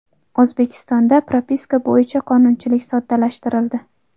O‘zbekistonda propiska bo‘yicha qonunchilik soddalashtirildi.